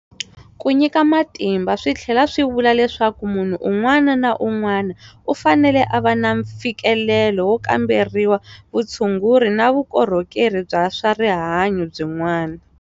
Ku nyika matimba swi tlhela swi vula leswaku munhu un'wana na un'wana u fanele a va na mfikelelo wo kamberiwa, vutshunguri na vukorhokeri bya swa rihanyu byin'wana.